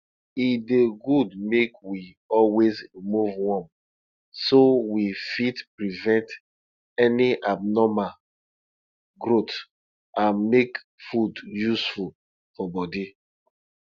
e dey good make we always remove worm so we fit prevent any abnormal growth and make food useful for body